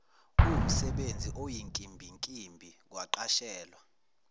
kuwumsebenzi oyinkimbinkimbi kwaqashelwa